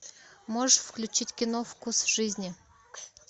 можешь включить кино вкус жизни